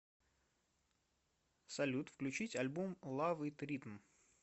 салют включить альбом лав ит ритм